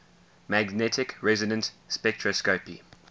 magnetic resonance spectroscopy